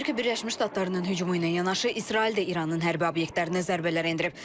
Amerika Birləşmiş Ştatlarının hücumu ilə yanaşı, İsrail də İranın hərbi obyektlərinə zərbələr endirib.